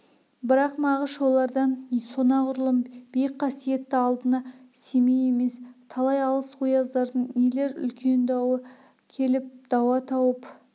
бірақ мағаш олардан сонағұрлым биік қасиетті алдына семей емес талай алыс ояздардың нелер үлкен дауы келіп дауа тауып